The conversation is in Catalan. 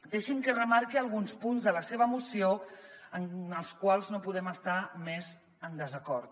deixi’m que remarqui alguns punts de la seva moció amb els quals no podem estar més en desacord